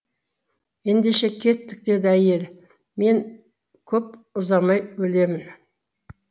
ендеше кеттік деді әйелі мен көп ұзамай өлемін